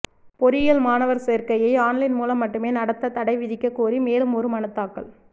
பொறியியல் மாணவர் சேர்க்கையை ஆன்லைன் மூலம் மட்டுமே நடத்த தடை விதிக்கக்கோரி மேலும் ஒரு மனு தாக்கல்